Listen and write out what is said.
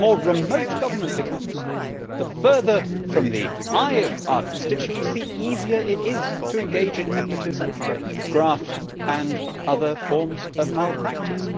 The more remote government becomes, the further from the eye of our constituents, the easier it is to engage in nepotism, graft and other forms of malpractice.